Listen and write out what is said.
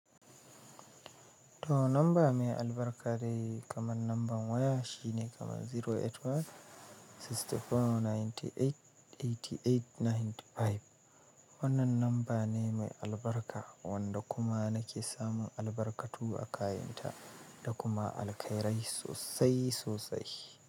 To number me albarka dai kaman namban waya shine kaman zero eight one six four ninety eight eighty eight ninety five. Wannan namba ne me albarka wanda kuma nake samun albarkatu a kayanta da kuma alkhairai sosai sosai.